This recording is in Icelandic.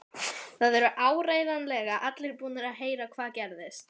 Það eru áreiðanlega allir búnir að heyra hvað gerðist.